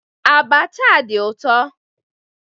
Abacha a di ụtọ.